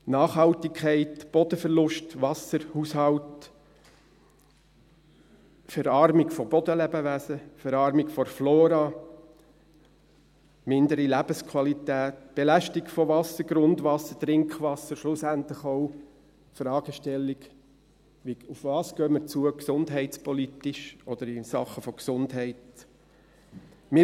Nachhaltigkeit, Bodenverlust, Wasserhaushalt, Verarmung von Bodenlebewesen, Verarmung der Flora, mindere Lebensqualität, Belastung von Wasser, Grundwasser, Trinkwasser, schlussendlich auch die Fragestellung, worauf wir gesundheitspolitisch oder in Sachen Gesundheit zugehen.